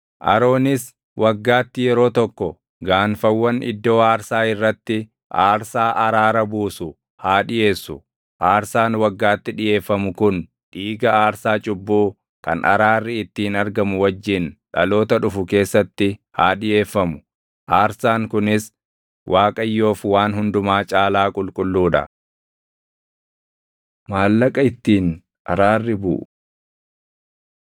Aroonis waggaatti yeroo tokko gaanfawwan iddoo aarsaa irratti aarsaa araara buusu haa dhiʼeessu; aarsaan waggaatti dhiʼeeffamu kun dhiiga aarsaa cubbuu kan araarri ittiin argamu wajjin dhaloota dhufu keessatti haa dhiʼeeffamu. Aarsaan kunis Waaqayyoof waan hundumaa caalaa qulqulluu dha.” Maallaqa Ittiin Araarri Buʼu